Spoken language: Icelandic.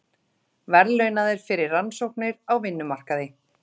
Verðlaunaðir fyrir rannsóknir á vinnumarkaði